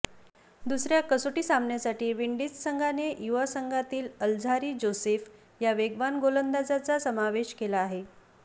दुसऱ्या कसोटी सामन्यासाठी विंडीज संघाने युवा संघातील अल्झारी जोसेफ या वेगवान गोलंदाजाचा समावेश केला आहे